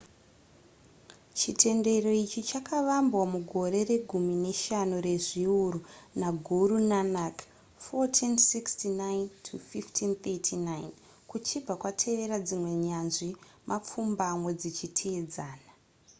chitendero ichi chakavambwa mugore regumi neshanu rezviuru naguru nanak 1469-1539. kuchibva kwatevera dzimwe nyanzvi mapfumbamwe dzichiteedzana